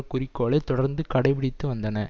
குறிக்கோளை தொடர்ந்து கடைபிடித்து வந்தன